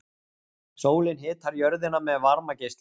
Sólin hitar jörðina með varmageislun.